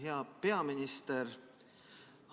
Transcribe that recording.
Hea peaminister!